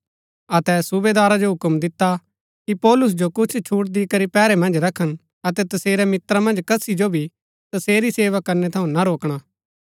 अतै सूबेदारा जो हूक्म दिता कि पौलुस जो कुछ छूट दिकरी पैहरै मन्ज रखन अतै तसेरै मित्रा मन्ज कसी जो भी तसेरी सेवा करणै थऊँ ना रोकणा